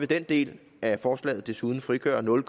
den del af forslaget vil desuden frigøre nul